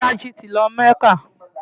Bolaji ti lọ mọ́kà.